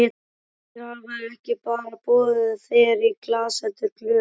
Þeir hafa ekki bara boðið þér í glas heldur glös.